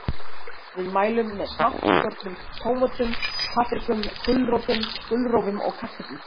Við mælum með smátt skornum tómötum, paprikum, gulrótum, gulrófum og kartöflum.